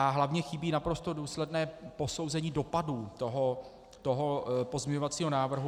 A hlavně chybí naprosto důsledné posouzení dopadů toho pozměňovacího návrhu.